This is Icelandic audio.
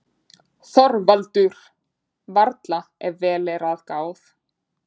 ÞORVALDUR: Varla, ef vel er að gáð.